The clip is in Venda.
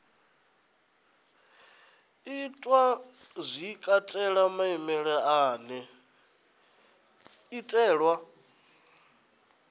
itwa zwi katela maimele ane